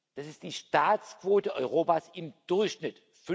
Das ist die Staatsquote Europas, im Durchschnitt